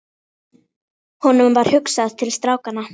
Honum varð hugsað til strákanna.